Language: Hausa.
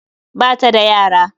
Ba ta da yara